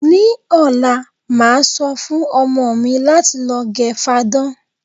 Ní ò̩la, màá so̩ fún o̩mo̩ mi láti lo̩ ge̩ fadán.